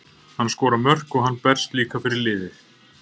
Hann skorar mörk og hann berst líka fyrir liðið.